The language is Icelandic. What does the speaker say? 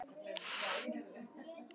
Og þannig mætti áfram telja.